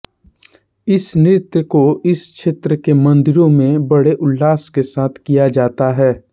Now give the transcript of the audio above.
इस नृत्य को इस क्षेत्र के मंदिरों में बड़े उल्लास के साथ किया जाता है